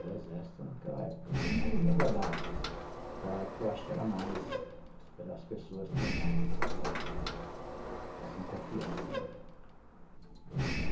o Exército naquela época, como ainda dá, mas naquela época eu acho que as pessoas tinham mais eh assim confiança, né, e...